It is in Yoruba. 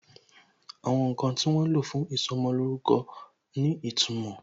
Àwọn ǹkan tí wọ́n lo fún ìsọmolórúkọ ní ìtumò